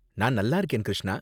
நான் நல்லா இருக்கேன், கிருஷ்ணா.